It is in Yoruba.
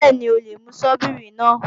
Bẹ́ẹ̀ni, o lè mú Sọ́bíìrì náà